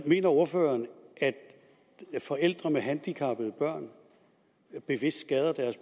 mener ordføreren at forældre med handicappede børn bevidst skader deres